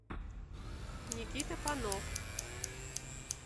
никита панов